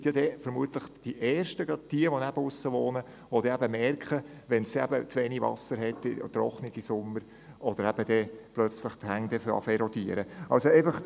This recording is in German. » Sie, also gerade diejenigen, die auf dem Land wohnen, sind dann vermutlich die Ersten, die es merken, wenn es zu wenig Wasser gibt in einem trockenen Sommer, oder wenn dann auf einmal die Hänge zu erodieren beginnen.